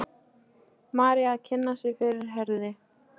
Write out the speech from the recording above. María að kynna sig fyrir Herði.